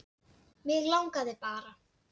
Mig langaði bara.